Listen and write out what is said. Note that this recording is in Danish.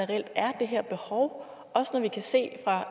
reelt er det her behov også når vi kan se